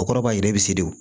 O kɔrɔ b'a yira i bɛ se de